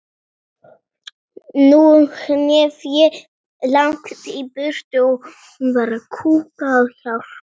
Þrjú hef ég fengið.